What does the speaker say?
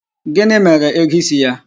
Gini mere ego isi ya?